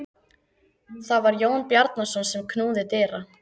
Það var Jón Bjarnason sem knúði dyra.